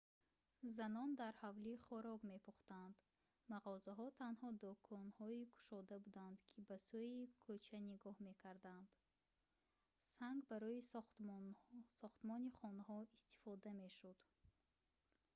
занон дар ҳавлӣ хӯрок мепӯхтанд мағозаҳо танҳо дӯконҳои кушода буданд ки ба сӯи кӯча нигоҳ мекарданд санг барои сохтмони хонаҳо истифода мешуд